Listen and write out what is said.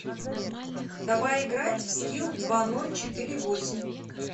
давай играть в скил два ноль четыре восемь